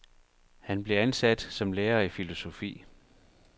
Han blev ansat som lærer i filosofi.